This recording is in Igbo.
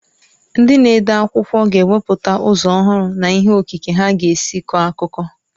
Ndị na-ede akwụkwọ ga-ewepụta ụzọ ọhụrụ na ihe okike ha ga-esi kọọ akụkọ.